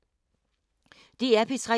DR P3